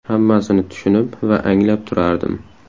Hammasini tushunib va anglab turardim.